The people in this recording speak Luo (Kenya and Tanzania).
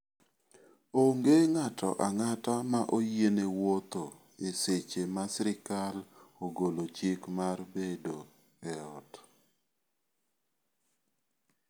Onge ng'ato ang'ata ma oyiene wuotho e seche ma sirkal ogolo chik mar debo ot.